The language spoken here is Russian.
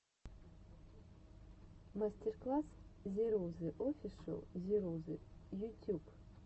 мастер класс зирузы офишл зирузы ютюб